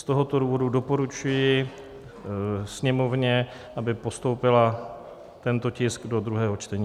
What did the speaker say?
Z tohoto důvodu doporučuji Sněmovně, aby postoupila tento tisk do druhého čtení.